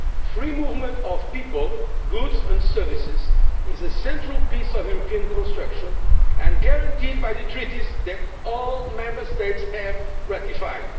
Free movement of people, goods and services is a central piece of the European construction and guaranteed by the Treaties that all Member States have ratified.